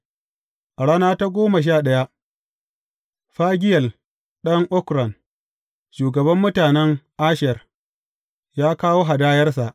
A rana ta goma sha ɗaya, Fagiyel ɗan Okran, shugaban mutanen Asher, ya kawo hadayarsa.